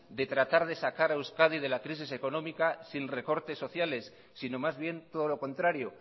de tratar de sacar a euskadi de la crisis económica sin recortes sociales sino más bien todo lo contrario